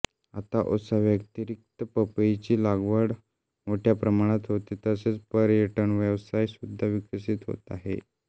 आता उसाव्यतिरिक्त पपईची लागवड मोठ्या प्रमाणात होते तसेच पर्यटनव्यवसाय सुद्धा विकसित होत आहे